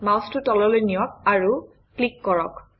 মাউচটো তললৈ নিয়ক আৰু ক্লিক কৰক